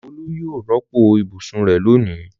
Olú yóò rọ́pò ibùsùn rẹ̀ lónìí.